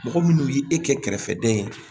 Mɔgɔ munnu ye e kɛ kɛrɛfɛden ye